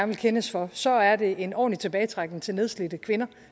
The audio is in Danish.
vil kendes for så er det en ordentlig tilbagetrækning til nedslidte kvinder